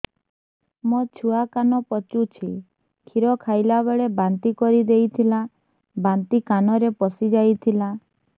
ମୋ ଛୁଆ କାନ ପଚୁଛି କ୍ଷୀର ଖାଇଲାବେଳେ ବାନ୍ତି କରି ଦେଇଥିଲା ବାନ୍ତି କାନରେ ପଶିଯାଇ ଥିଲା